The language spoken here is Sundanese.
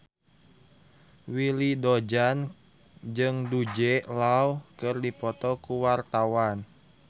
Willy Dozan jeung Jude Law keur dipoto ku wartawan